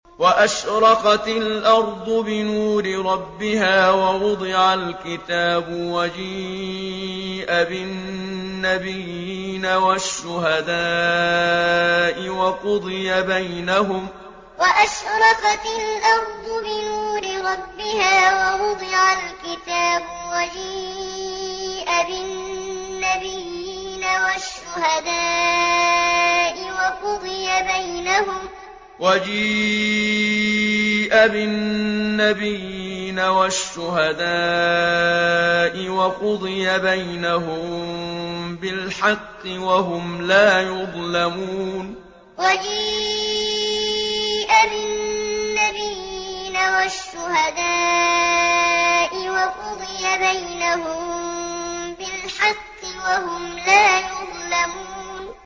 وَأَشْرَقَتِ الْأَرْضُ بِنُورِ رَبِّهَا وَوُضِعَ الْكِتَابُ وَجِيءَ بِالنَّبِيِّينَ وَالشُّهَدَاءِ وَقُضِيَ بَيْنَهُم بِالْحَقِّ وَهُمْ لَا يُظْلَمُونَ وَأَشْرَقَتِ الْأَرْضُ بِنُورِ رَبِّهَا وَوُضِعَ الْكِتَابُ وَجِيءَ بِالنَّبِيِّينَ وَالشُّهَدَاءِ وَقُضِيَ بَيْنَهُم بِالْحَقِّ وَهُمْ لَا يُظْلَمُونَ